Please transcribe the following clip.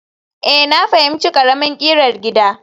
Ee, na fahimci ƙaramin ƙirar gida